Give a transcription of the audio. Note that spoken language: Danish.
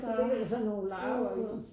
Så ligger der sådan nogle larver i